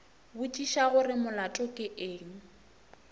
botšiša gore molato ke eng